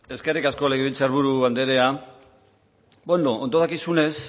eskerrik asko legebiltzar buru andrea ondo dakizunez